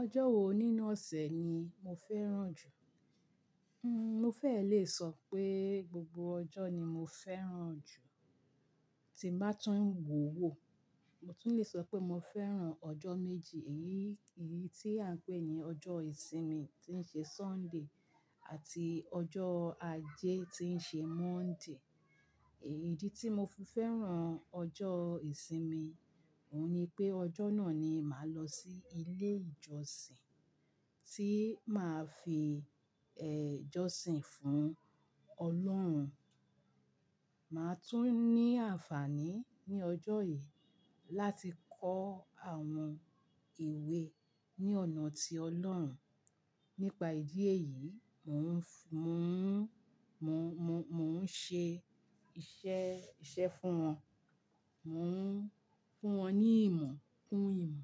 Ọjọ́ wo nínú ọ̀sẹ̀ ni mo fẹ́ràn jù? Hmm, mo fẹ́ lè sọ pé gbogbo ọjọ́ ni mo fẹ́ràn jù, tí n bá tún ń wòwó, mo tún lè sọ pé mo fẹ́ràn ọjọ́ méjì. Èyí, èyí tí à ń pè ní ọjọ́ ìsinmi tí ń ṣe Sunday àti ọjọ́ ajé tí ń ṣe Monday. Idi tí mo fi fẹ́ràn ọjọ́ ìsinmi, òun ni pé ọjọ́ náà ni màá lọ sí ilé ìjọsìn tí màá fi ẹ jọ́sìn fún Ọlọ́run. Màá tún ní àǹfààní ní ọjọ́ yìí láti kọ́ àwọn ewe ní ọ̀nà ti Ọlọ́run. Nípa ìdí èyí, mò ń, mò ń, mò, mò, mò ń ṣe iṣẹ́, iṣẹ́ fún wọn, mò ń fún wọn ní ìmọ̀, kún ìmọ̀.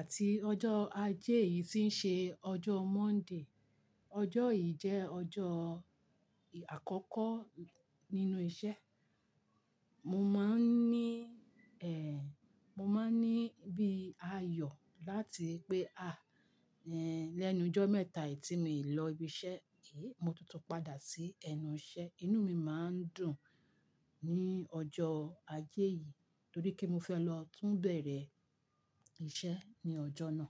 Àti ọjọ́ ajé yìí tí ń ṣe ọjọ́ Monday. Ọjọ́ yìí jẹ́ ọjọ́ àkọ́kọ́ nínú iṣẹ́. Mo máa ń ní ẹ, mo máa ń ní bí ayọ̀ láti pé à, ẹ lẹ́nu ọjọ́ mẹ́ta yìí tí mi lọ ibi iṣẹ́ yìí, mo tún tú padà sí ẹnu iṣẹ́. Inú mi máa ń dùn ní ọjọ́ ajé yìí, torí pe mo fẹ́ lọ tún bẹ̀rẹ̀ iṣẹ́ ní ọjọ́ náà.